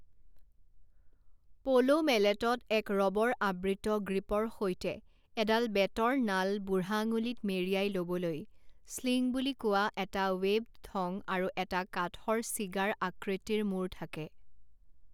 প'ল' মেলেটত এক ৰবৰ আবৃত গ্ৰিপৰ সৈতে এডাল বেতৰ নাল বুঢ়া আঙুলিত মেৰিয়াই ল'বলৈ স্লিং বুলি কোৱা এটা ৱেবড থং আৰু এটা কাঠৰ চিগাৰ আকৃতিৰ মূৰ থাকে।